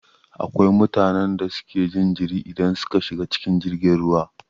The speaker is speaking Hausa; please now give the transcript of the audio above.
Akwai mutanen da suke jin jiri idan suka shiga cikin jirgin ruwa